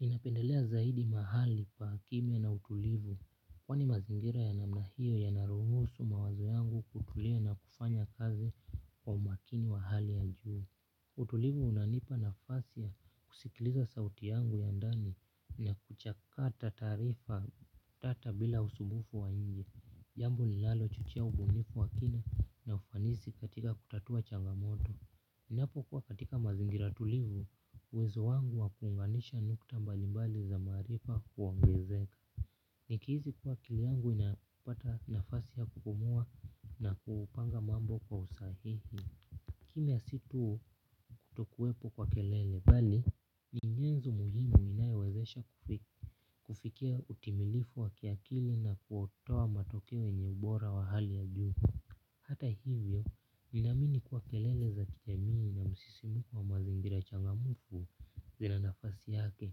Ninapendelea zaidi mahali pa kimya na utulivu. Kwani mazingira ya namna hiyo yanaruhusu mawazo yangu kutulia na kufanya kazi kwa umakini wa hali ya juu. Utulivu unanipa nafasi ya kusikiliza sauti yangu ya ndani na kuchakata taarifa tata bila usumbufu wa nje. Jambo linalo chochea ubunifu wa kina na ufanisi katika kutatua changamoto. Ninapokuwa katika mazingira tulivu, uwezo wangu wa kuunganisha nukta mbalimbali za maarifa huongezeka. Nikihisi kuwa akili yangu inapata nafasi ya kupumua na kupanga mambo kwa usahihi. Kimya si tu kutokuwepo kwa kelele bali, ni nyenzo muhimu inayowezesha kufikia utimilifu wa kiakili na kutoa matokeo yenye ubora wa hali ya juu. Hata hivyo, ninaamini kuwa kelele za kijamii na msisimuko wa mazingira changamfu zina nafasi yake,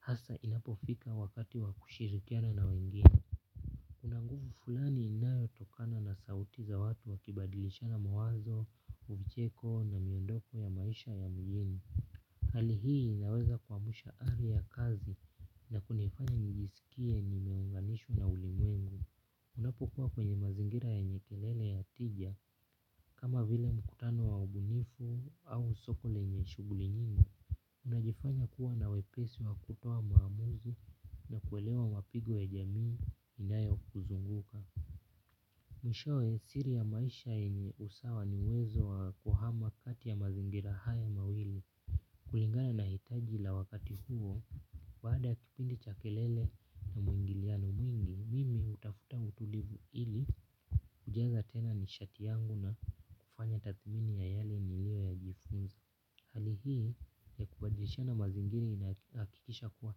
hasa inapofika wakati wa kushirikiana na wengine. Kuna nguvu fulani inayotokana na sauti za watu wakibadilishana mawazo, vicheko na miondoko ya maisha ya mgeni. Hali hii inaweza kuamsha ari ya kazi na kunifanya nijisikie nimeunganishwa na ulimwengu. Unapokuwa kwenye mazingira yenye kelele ya tija kama vile mkutano wa ubunifu au soko lenye shughuli nyingi unajifanya kuwa na wepesi wa kutoa maamuzi na kuelewa mapigo ya jamii inayokuzunguka. Mwishowe siri ya maisha yenye usawa ni uwezo wa kuhama kati ya mazingira haya mawili. Kulingana na hitaji la wakati huo, baada ya kipindi cha kelele na mwingiliano mwingi, mimi hutafuta utulivu ili kujaza tena nishati yangu na kufanya tathmini ya yale niliyoya jifunza. Hali hii ya kubadilishana mazingira inahakikisha kuwa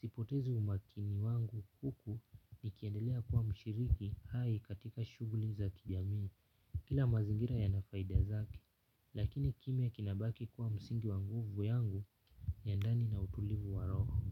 sipotezi umakini wangu huku nikiendelea kuwa mshiriki hai katika shughuli za kijamii. Kila mazingira yana faidia zake, lakini kimya kinabaki kuwa msingi wa nguvu yangu ya ndani na utulivu wa roho.